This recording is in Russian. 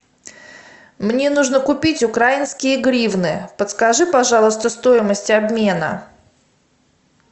мне нужно купить украинские гривны подскажи пожалуйста стоимость обмена